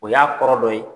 O y'a kɔrɔ dɔ ye